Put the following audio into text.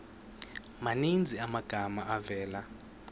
maninzi amagama avela